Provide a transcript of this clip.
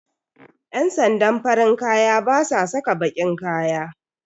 Ƴan sandan farin kaya basa saka baƙin kaya